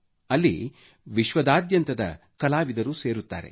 ಅಲ್ಲಿ ವಿಶ್ವದಾದ್ಯಂತದ ಕಲಾವಿದರು ಸೇರುತ್ತಾರೆ